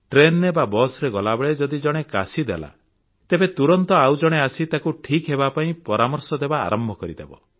ଟ୍ରେନରେ ବା ବସରେ ଗଲାବେଳେ ଯଦି ଜଣେ କାଶିଦେଲା ତେବେ ତୁରନ୍ତ ଆଉଜଣେ ଆସି ତାକୁ ଠିକ୍ ହେବାପାଇଁ ପରାମର୍ଶ ଦେବା ଆରମ୍ଭ କରିଦେବ